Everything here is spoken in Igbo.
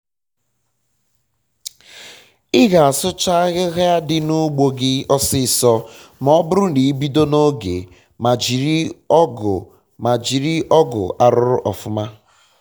um ịga asụcha ahịhịa di um n'ugbo gi ọsịsọ ma ọ bụrụ na ibido na oge ma jiri oge ma jiri um ọgụ arụrụ ọfụma